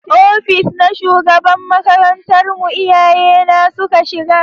Ofis na shugaban makarantar mu iyaye na suka shiga